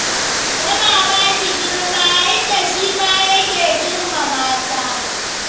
Tana ba shi girma, inda shi ma yake girmama ta.